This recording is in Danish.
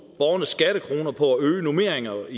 borgernes skattekroner på at øge normeringerne